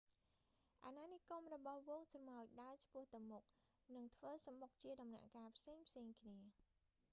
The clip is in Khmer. អាណានិគមរបស់ហ្វូងស្រមោចដើរឆ្ពោះទៅមុខ និងធ្វើសំបុកជាដំណាក់កាលផ្សេងៗគ្នា